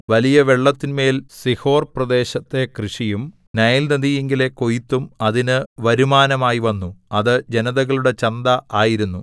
വലിയ വെള്ളത്തിന്മേൽ സീഹോർപ്രദേശത്തെ കൃഷിയും നൈൽനദിയിങ്കലെ കൊയ്ത്തും അതിന് വരുമാനമായിവന്നു അത് ജനതകളുടെ ചന്ത ആയിരുന്നു